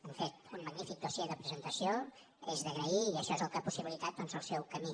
han fet un magní·fic dossier de presentació és d’agrair i això és el que ha possibilitat doncs el seu camí